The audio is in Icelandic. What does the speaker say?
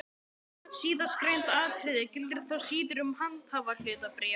Síðastgreint atriði gildir þó síður um handhafahlutabréf.